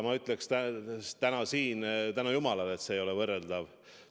Ma ütleksin täna siin: tänu jumalale, et need ei ole võrreldavad.